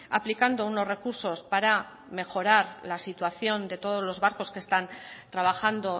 aplicando unos recursos para mejorar la situación de todos los barcos que están trabajando